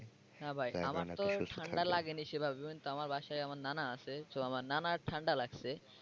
না ভাই আমার তো ঠান্ডা লাগেনি সেভাবে কিন্তু আমার বাসায় আমার নানা আছে so আমার নানার ঠান্ডা লাগছে।